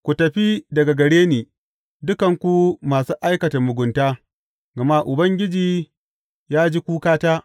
Ku tafi daga gare ni, dukanku masu aikata mugunta, gama Ubangiji ya ji kukata.